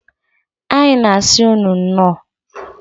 Anyị na asi ụnụ nnọọ.